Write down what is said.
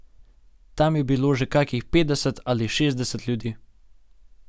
Tam je bilo že kakih petdeset ali šestdeset ljudi.